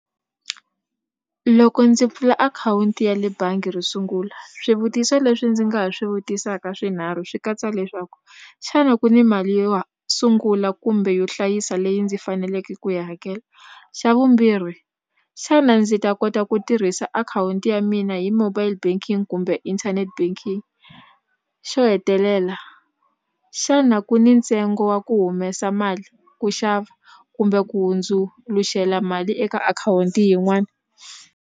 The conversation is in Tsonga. Loko ndzi pfula akhawunti ya le bangi ro sungula swivutiso leswi ndzi nga ha swi vutisaka swinharhu swi katsa leswaku xana ku ni mali yo sungula kumbe yo hlayisa leyi ndzi faneleke ku yi hakela xa vumbirhi xana ndzi ta kota ku tirhisa akhawunti ya mina hi mobile banking kumbe internet banking xo hetelela xana ku ni ntsengo wa ku humesa mali ku xava kumbe ku hundzuluxela mali eka akhawunti yin'wani.